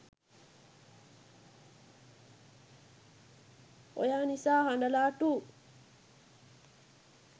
oya nisa hadala 2